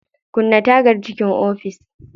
Kulle tagar cikin ofis.